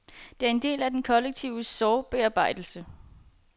Det er en del af den kollektive sorgbearbejdelse.